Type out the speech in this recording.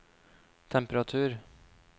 temperatur